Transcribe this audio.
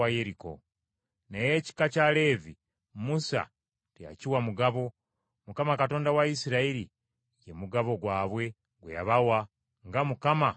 Naye ekika kya Leevi Musa teyakiwa mugabo. Mukama Katonda wa Isirayiri, ye mugabo gwabwe gwe yabawa, nga Mukama bwe yabasuubiza.